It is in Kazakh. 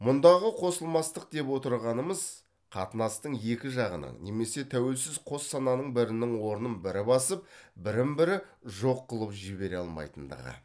мұндағы қосылмастық деп отырғанымыз қатынастың екі жағының немесе тәуелсіз қос сананың бірінің орнын бірі басып бірін бірі жоқ қылып жібере алмайтындығы